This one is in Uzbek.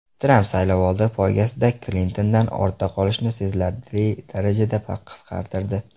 Tramp saylovoldi poygasida Klintondan ortda qolishni sezilarli darajada qisqartirdi .